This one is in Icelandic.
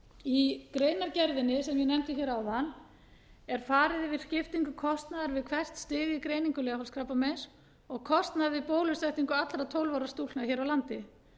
í greinargerðinni sem ég nefndi hér áðan er farið yfir skiptingu kostnaðar við hvert stig í greiningu leghálskrabbameins og kostnað við bólusetningu allra tólf ára stúlkna hér á landi